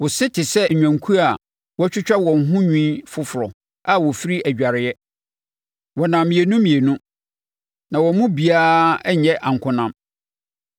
Wo se te sɛ nnwankuo a wɔatwitwa wɔn ho nwi foforɔ, a wɔfiri adwareɛ. Wɔnam mmienu mmienu na wɔn mu biara nyɛ ankonam.